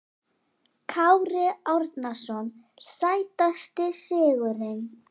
Kári Árnason Sætasti sigurinn?